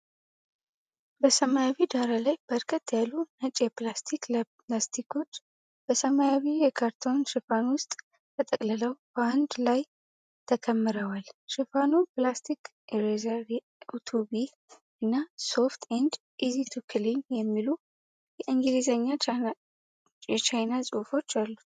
በሰማያዊ ዳራ ላይ በርከት ያሉ ነጭ የፕላስቲክ ላስቲኮች በሰማያዊ የካርቶን ሽፋን ውስጥ ተጠቅልለው በአንድ ላይ ተከምረዋል። ሽፋኑ "PLASTIC ERASER 2B" እና "Soft and easy to clean" የሚሉ የእንግሊዘኛና የቻይንኛ ጽሑፎች አሉት።